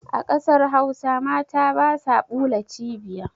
A ƙasar hausa mata basa ɓula cibiya